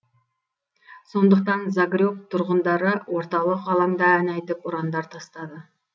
сондықтан загреб тұрғындары орталық алаңда ән айтып ұрандар тастады